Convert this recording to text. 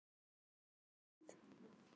Reykjahlíð